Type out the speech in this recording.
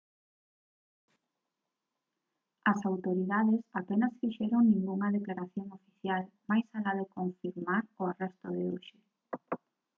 as autoridades apenas fixeron ningunha declaración oficial máis alá de confirmar o arresto de hoxe